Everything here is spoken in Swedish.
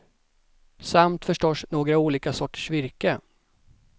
Samt förstås några olika sorters virke.